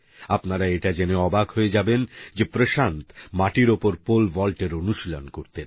আপনারাএটা জেনে অবাক হয়ে যাবেন যে প্রশান্ত মাটির ওপর পোল ভল্টের অনুশীলন করতেন